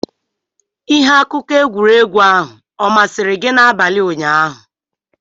Ihe akụkọ egwuregwu ahụ ọ masịrị gị n'abalị ụnyaahụ?